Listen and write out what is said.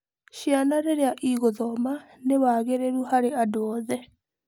Ciana rĩrĩa igũthoma nĩ wagĩrĩru harĩ andũ othe.